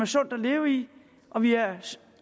sådan virkelig